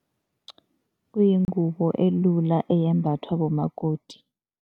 Kuyingubo elula eyembathwa bomakoti.